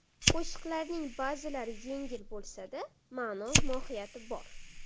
Qo‘shiqlarimning ba’zilari yengil bo‘lsa-da, ma’no-mohiyati bor.